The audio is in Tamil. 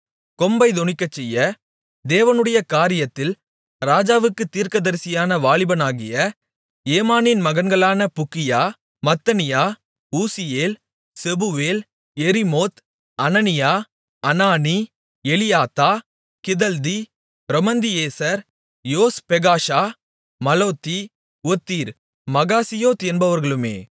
கொம்பைத் தொனிக்கச்செய்ய தேவனுடைய காரியத்தில் ராஜாவுக்கு தீர்க்கதரிசியான வாலிபனாகிய ஏமானின் மகன்களான Bukkiah Mattaniah Uzziel Shebuel Jerimoth Hananiah Hanani Eliathah Giddalti Romamtiezer Joshbekashah Mallothi Hothir Mahazioth என்பவர்களுமே